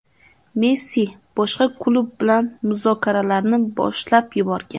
Messi boshqa klub bilan muzokaralarni boshlab yuborgan.